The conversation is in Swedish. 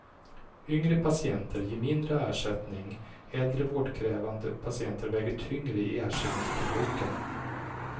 Yngre patienter ger mindre ersättning, äldre vårdkrävande patienter väger tyngre i ersättningsplånboken.